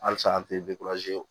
Halisa an tɛ ye